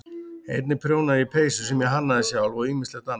Einnig prjónaði ég peysur sem ég hannaði sjálf og ýmislegt annað.